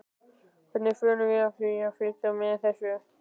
Hvernig förum við að því að fylgjast með þessu öllu?